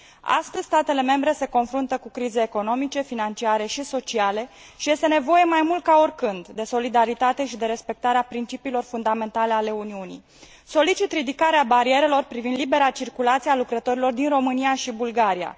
Astăzi, statele membre se confruntă cu crize economice, financiare și sociale și este nevoie mai mult ca oricând de solidaritate și de respectarea principiilor fundamentale ale Uniunii. Solicit ridicarea barierelor privind libera circulație a lucrătorilor din România și Bulgaria.